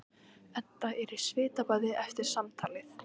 Edda er í svitabaði eftir samtalið.